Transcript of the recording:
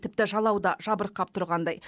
тіпті жалау да жабырқап тұрғандай